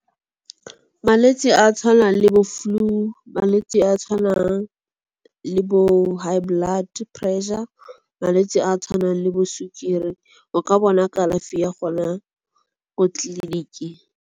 Malwetse a a tshwanang le bo flu malwetse a a tshwanang le bo high blood pressure. Malwetse a a tshwanang le bo sukiri o ka bona kalafi ya gona ko tleliniking.